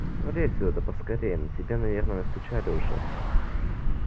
свали отсюда поскорее на тебя наверное настучали уже